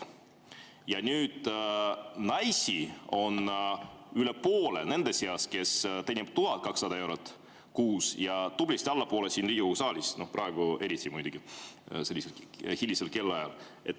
Naised üle poole nendest, kes teenivad umbes 1200 eurot kuus, ja tublisti alla poole Riigikogu saalist, eriti muidugi praegu, sellisel hilisel kellaajal.